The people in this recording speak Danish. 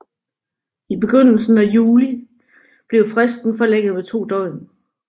I begyndelsen af juli blev fristen forlænget med to døgn